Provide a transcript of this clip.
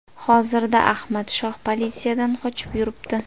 Hozirda Ahmad Shoh politsiyadan qochib yuribdi.